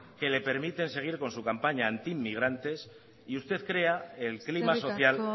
que le permiten seguir con su campaña anti inmigrantes y usted crea el clima social